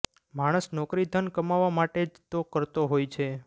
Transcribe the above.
માણસ નોકરી ધન કમાવવા માટે જ તો કરતો હોય છે